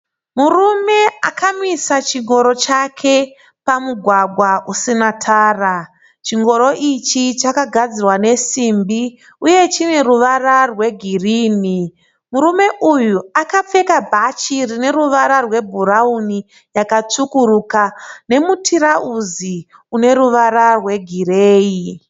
Murume akamisa chingoro chake pamugwagwa usina tara. Chingoro ichi chakagadzirwa nesimbi uye chine ruwara rwe girini. Murume uyu akapfeka bhachi rine ruwara rwe bhurauni yakatsvukuruka nemutirauzi une ruwara rwe gireyi.